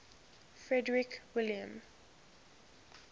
frederick william